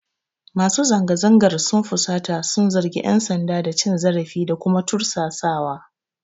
Masu zanga-zangar sun fusata sun zargi ƴan sanda da cin zarafi da kuma tursasawa.